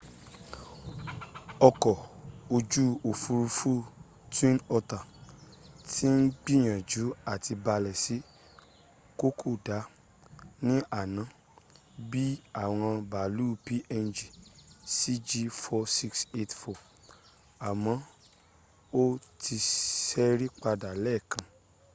ọkọ̀ ojú òfúrufú twin otter ti ń gbìyànjú à ti balẹ̀ sí kokoda ní àná bí i àwọn bàálù png cg4684 àmọ́ ó ti sẹ́rí padà lẹ́ẹ̀kan